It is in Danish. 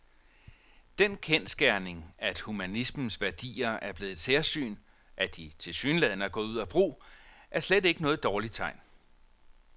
Den kendsgerning, at humanismens værdier er blevet et særsyn, at de tilsyneladende er gået ud af brug, er slet ikke noget dårligt tegn.